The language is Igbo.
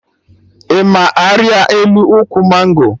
Ị ma arịa elu ụkwụ mango?